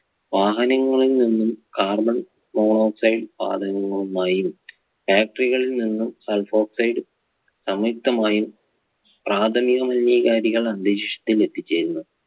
വാഹനങ്ങളിൽ നിന്നും carbon monoxide വാതകങ്ങളുമായും Factory കളിൽ നിന്നും sulfoxide സംയുക്തമായും പ്രാഥമിക മലിനീകാരികൾ അന്തരീക്ഷത്തിൽ എത്തിച്ചേരുന്നു.